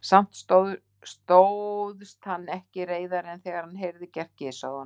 Samt stóðst hann ekki reiðari en þegar hann heyrði gert gys að honum.